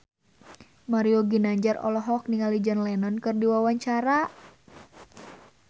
Mario Ginanjar olohok ningali John Lennon keur diwawancara